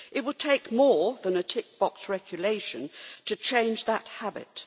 It will take more than a tick box regulation to change that habit.